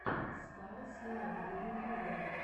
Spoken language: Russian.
стар слайм в ютубе